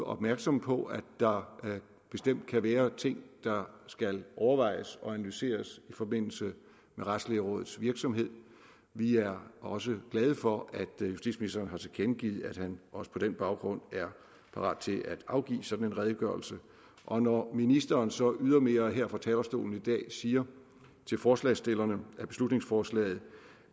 opmærksomme på at der bestemt kan være ting der skal overvejes og analyseres i forbindelse med retslægerådets virksomhed vi er også glade for at justitsministeren har tilkendegivet at han også på den baggrund er parat til at afgive sådan en redegørelse og når ministeren så ydermere her fra talerstolen i dag siger til forslagsstillerne af beslutningsforslaget